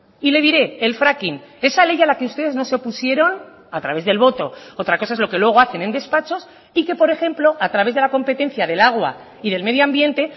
y le diré el fracking esa ley a la que ustedes no se opusieron a través del voto otra cosa es lo que luego hacen en despachos y que por ejemplo a través de la competencia del agua y del medio ambiente